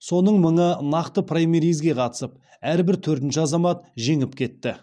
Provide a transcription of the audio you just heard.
соның мыңы нақты праймеризге қатысып әрбір төртінші азамат жеңіп кетті